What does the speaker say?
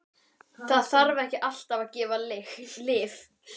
Það þarf ekki alltaf að gefa lyf.